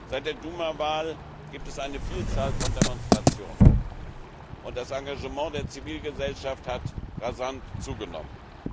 Seit der Duma Wahl gibt es eine Vielzahl von Demonstrationen und das Engagement der Zivilgesellschaft hat rasant zugenommen.